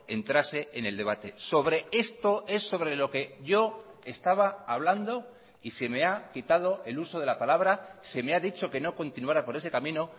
entrase en el debate sobre esto es sobre lo que yo estaba hablando y se me ha quitado el uso de la palabra se me ha dicho que no continuara por ese camino